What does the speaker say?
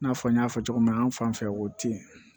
I n'a fɔ n y'a fɔ cogo min na an fan fɛ o tɛ yen